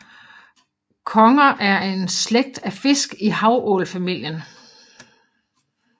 Conger er en slægt af fisk i havålfamilien